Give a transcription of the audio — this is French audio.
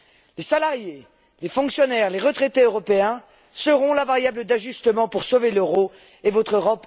Les salariés, les fonctionnaires, les retraités européens seront la variable d'ajustement pour sauver l'euro et votre Europe ultralibérale.